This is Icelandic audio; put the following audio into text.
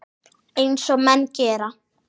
Eins og menn gera.